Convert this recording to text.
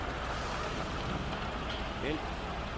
hæld